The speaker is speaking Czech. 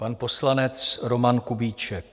Pan poslanec Roman Kubíček.